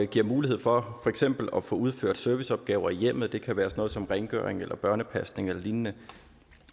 giver mulighed for for eksempel at få udført serviceopgaver i hjemmet det kan være noget som rengøring eller børnepasning eller lignende